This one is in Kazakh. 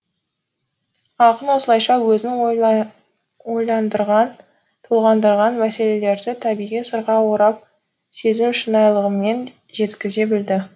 ақын осылайша өзін ойландырған толғандырған мәселелерді табиғи сырға орап сезім шынайылығымен жеткізе білді